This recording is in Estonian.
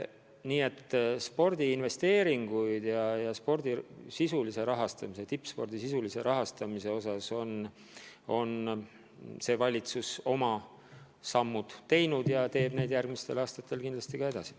Nii et spordiinvesteeringute, spordi rahastamise, sh tippspordi rahastamise osas on see valitsus oma sammud teinud ja teeb neid järgmistel aastatel kindlasti ka edasi.